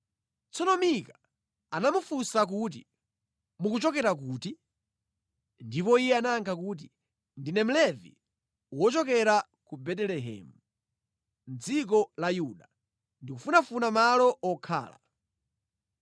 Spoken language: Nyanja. Tsono Mika anamufunsa kuti, “Mukuchokera kuti?” Ndipo iye anayakha kuti, “Ndine Mlevi wochokera ku Betelehemu mʼdziko la Yuda. Ndikufunafuna malo okhala.”